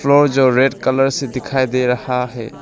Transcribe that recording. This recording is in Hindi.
वो जो रेड कलर से दिखाई दे रहा है।